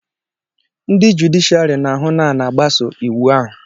ndị jụdịshịàrị na-ahụ na a na-agbaso iwu ahụ